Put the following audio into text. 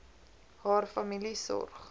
haar familie sorg